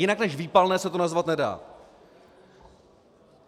Jinak než výpalné se to nazvat nedá.